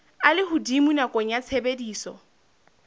a lehodimo nakong ya tshebediso